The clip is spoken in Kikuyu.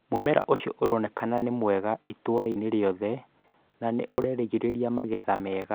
mũmera ũcio uronekana nĩ mwega itũura riothe na nĩ ũreĩrĩgĩrĩra magetha mega.